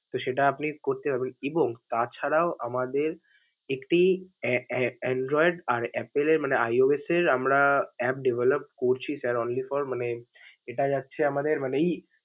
তো সেটা আপনি করতে পারবেন, এবং তাছাড়াও আমাদের একটি অ্যা~ অ্যা~ Android আর Apple এর মানে iOS এর আমরা app develop করছি sir, only for মানে এটা যাচ্ছে আমাদের মানে ই.